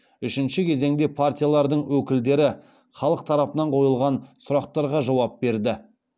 үшінші кезеңде партиялардың өкілдері халық тарапынан қойылған сұрақтарға жауап берді